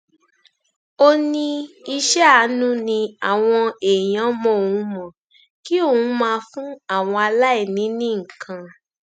ó ní iṣẹ àánú ni àwọn èèyàn mọ òun mọ kí òun máa fún àwọn aláìní ní nǹkan